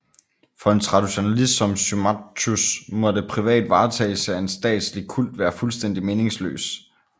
For en traditionalist som Symmachus måtte privat varetagelse af en statslig kult være fuldstændig meningsløs